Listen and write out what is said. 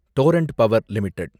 Torrent Power limited